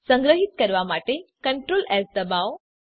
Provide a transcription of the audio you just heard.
સંગ્રહીત કરવા માટે Ctrl એસ ડબાઓ